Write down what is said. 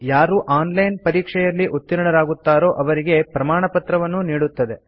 ಯಾರು online ಪರೀಕ್ಷೆಯಲ್ಲಿ ಉತ್ತೀರ್ಣರಾಗುತ್ತಾರೋ ಅವರಿಗೆ ಪ್ರಮಾಣಪತ್ರವನ್ನೂ ನೀಡುತ್ತದೆ